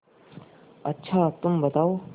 अच्छा तुम बताओ